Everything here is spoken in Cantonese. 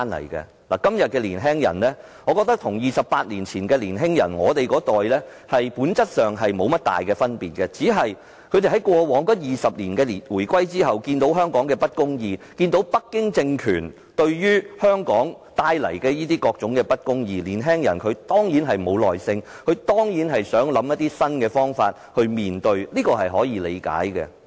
我覺得今天的年輕人與28年前我們那一代的年輕人，在本質上並沒有太大分別，只是他們在回歸後的20年來，每當看到香港的不公義，以及北京政權為香港所帶來的不公義，便失去耐性，希望想出一些新方法來面對，這是可以理解的。